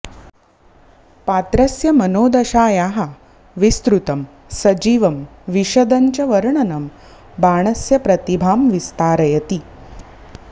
पात्रस्य मनोदशायाः विस्तृतं सजीवं विशदञ्च वर्णनं बाणस्य प्रतिभां विस्तारयति